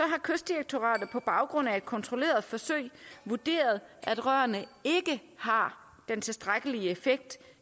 kystdirektoratet på baggrund af et kontrolleret forsøg vurderet at rørene ikke har den tilstrækkelige effekt